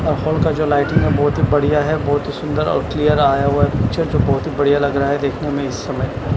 और हॉल का जो लाइटिंग है वो बहुत ही बढ़ियाँ है बहुत ही सुन्दर और क्लियर आया हुआ है पिक्चर जो बहुत ही बढ़ियाँ दिख रहा है इस समय।